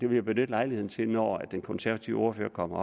vil benytte lejligheden til når den konservative ordfører kommer